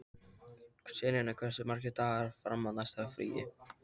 Selina, hversu margir dagar fram að næsta fríi?